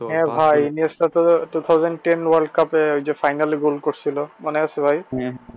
হ্যাঁ ভাই তো two-thousand ten world cup ওইযে final এ goal করছিল মনে আছে ভাই?